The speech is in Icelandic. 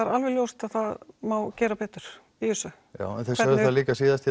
er alveg ljóst að það má gera betur en þið sögðuð það líka síðast